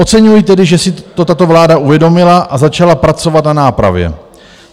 Oceňuji tedy že si to tato vláda uvědomila a začala pracovat na nápravě.